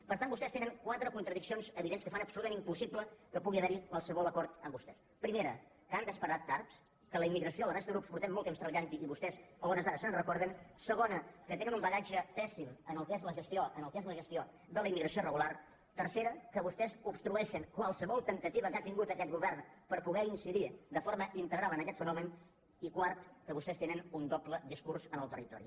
per tant vostès tenen quatre contradiccions evidents que fan absolutament impossible que pugui haver·hi qualsevol acord amb vostès primera que han desper·tat tard que en la immigració la resta de grups fa molt temps que hi treballem i vostès a hores d’ara se’n recor·den segona que tenen un bagatge pèssim en el que és la gestió en el que és la gestió de la immigració irregu·lar tercera que vostès obstrueixen qualsevol temptativa que ha tingut aquest govern per poder incidir de forma integral en aquest fenomen i quart que vostès tenen un doble discurs en el territori